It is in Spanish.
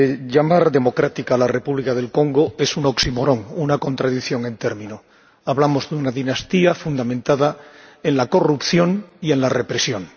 Llamar democracia a la República del Congo es un oxímoron, una contradicción en término. Hablamos de una dinastía fundamentada en la corrupción y en la represión.